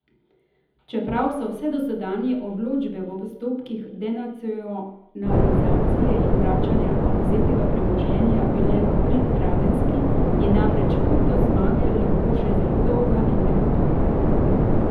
Čeprav so vse dosedanje odločbe v postopkih denacionalizacije in vračanja odvzetega premoženja bile v prid Radenski, je namreč pot do zmage lahko še zelo dolga in negotova.